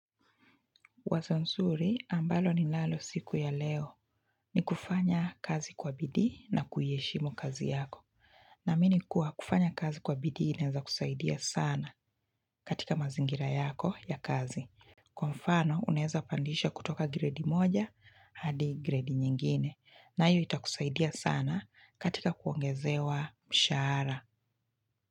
Wazo nzuri ambalo ninalo siku ya leo ni kufanya kazi kwa bidii na kuiheshimu kazi yako. Naamini kuwa kufanya kazi kwa bidii inaweza kusaidia sana katika mazingira yako ya kazi. Kwa mfano unaweza pandisha kutoka gredi moja hadi gredi nyingine. Nayo itakusaidia sana katika kuongezewa mshara.